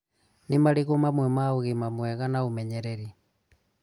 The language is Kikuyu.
Ni marĩkũ mamwe ma ũgima mwega na ũmenyereri?